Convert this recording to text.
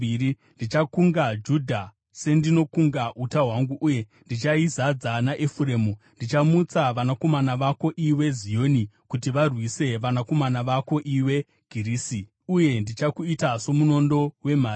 Ndichakunga Judha sendinokunga uta hwangu, uye ndichaizadza naEfuremu. Ndichamutsa vanakomana vako, iwe Zioni, kuti varwise vanakomana vako, iwe Girisi; uye ndichakuita somunondo wemhare.